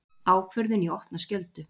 Ákvörðun í opna skjöldu